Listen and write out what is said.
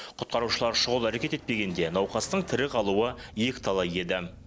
құтқарушылар шұғыл әрекет етпегенде науқастың тірі қалуы екіталай еді